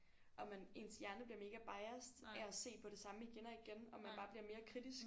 Og man ens hjerne bliver mega biased af at se på det samme igen og igen og man bare bliver mere kritisk